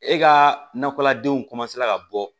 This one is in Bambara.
E ka nakɔladenw ka bɔ